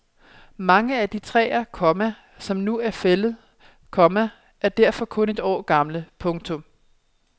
Mange af de træer, komma som nu bliver fældet, komma er derfor kun et år gamle. punktum